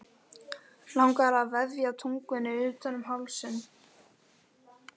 Langar að vefja tungunni utan um hálsinn.